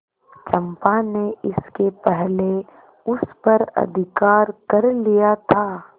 चंपा ने इसके पहले उस पर अधिकार कर लिया था